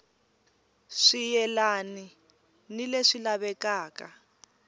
swi yelani ni leswi lavekaka